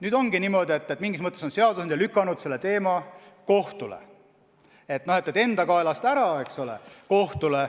Nüüd ongi niimoodi, et mingis mõttes on seadusandja lükanud selle teema kohtu lahendada, enda kaelast ära.